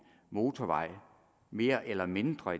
motorvej mere eller mindre